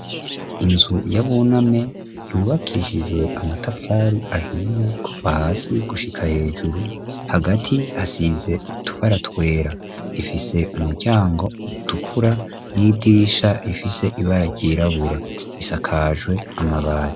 Inzu yabuna me yubakishijwe amatafari ahiye ku va hasi gushika hejuru hagati asize utubaratwera ifise umuryango utukura n'idisha ifise ibara ryirabura risakajwe amabari.